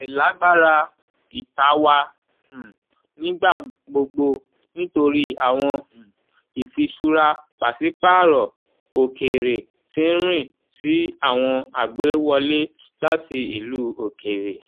ìlágbára ìta wa um nigba gbogbo nitori awọn um ifiṣura paṣipaarọ okeere tín ń riìn sí awọn agbewọle lati ilu okeere.